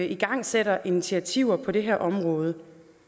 igangsætter initiativer på det her område